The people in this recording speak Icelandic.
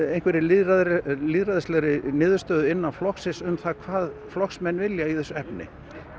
lýðræðislegri lýðræðislegri niðurstöðu innan flokksins um hvað flokksmenn vilja í þessu efni